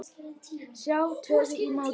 Sjá stöðuna í mótinu.